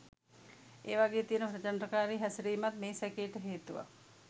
ඒවගේ තියන ප්‍රචන්ඩකාරී හැසිරීමත් මේ සැකේට හේතුවක්